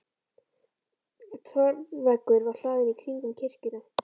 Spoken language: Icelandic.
Torfveggur var hlaðinn í hring um kirkjuna.